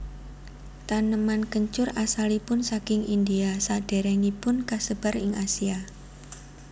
Taneman kencur asalipun saking India sadèrèngipun kasebar ing Asia